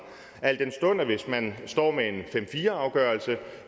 al den stund at hvis man står med en fem fire afgørelse